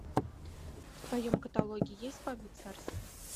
в твоем каталоге есть бабье царство